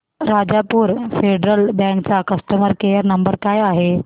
राजापूर फेडरल बँक चा customer care number काय आहे